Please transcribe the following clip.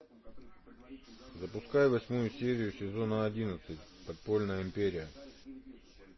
запускай восьмую серию сезона одиннадцать подпольная империя